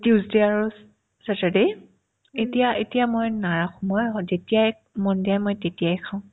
tuesday আৰু saturday এতিয়া এতিয়া মই নাৰাখো মই স যেতিয়াই মন যায় মই তেতিয়াই খাও